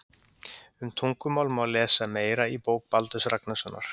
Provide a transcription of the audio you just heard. Um tungumál má lesa meira í bók Baldurs Ragnarssonar.